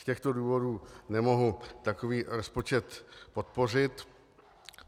Z těchto důvodů nemohu takový rozpočet podpořit.